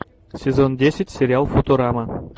сезон десять сериал футурама